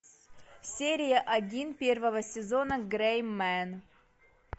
серия один первого сезона грэй мен